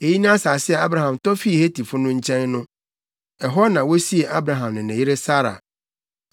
Eyi ne asase a Abraham tɔ fii Hetifo nkyɛn no. Ɛhɔ na wosiee Abraham ne ne yere Sara.